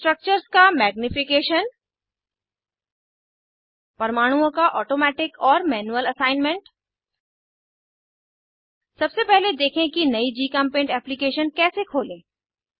structures का magnification परमाणुओं का ऑटोमैटिक और मैनुअल असाइनमेंट सबसे पहले देखें कि नयी जीचेम्पेंट एप्लीकेशन कैसे खोलें